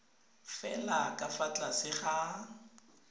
fela ka fa tlase ga